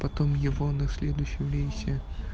потом его на следующем рейсе